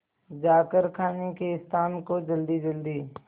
जाकर खाने के स्थान को जल्दीजल्दी